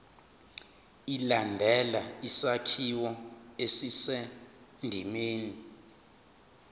ilandele isakhiwo esisendimeni